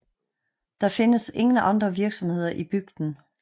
Der findes ingen andre virksomheder i bygden